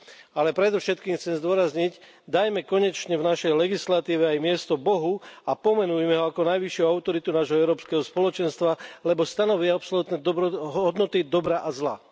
Ale predovšetkým chcem zdôrazniť, dajme konečne v našej legislatíve aj miesto Bohu a pomenujme ho ako najvyššiu autoritu nášho Európskeho spoločenstva, lebo stanoví absolútne hodnoty dobra a zla.